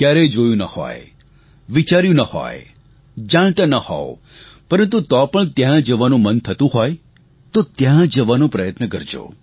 ક્યારે જોયું ન હોય વિચાર્યું ન હોય જાણતા ન હોવ પરંતુ તો પણ ત્યાં જવાનું મન થતું હોય તો ત્યાં જવાનો પ્રયત્ન કરજો